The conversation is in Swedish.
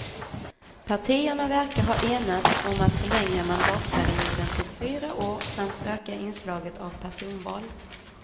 Partierna verkar ha enats om att förlänga mandatperioden till fyra år samt öka inslaget av personval.